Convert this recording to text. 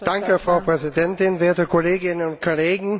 Frau Präsidentin, werte Kolleginnen und Kollegen!